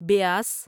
بیاس